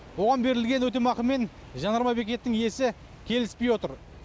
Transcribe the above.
оған берілген өтемақымен жанармай бекеттің иесі келіспей отыр